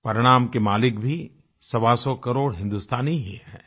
परिणाम के मालिक भी सवासौ करोड़ हिन्दुस्तानी ही हैं